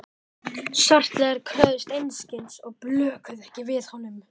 Svartliðar kröfðust einskis og blökuðu ekki við honum.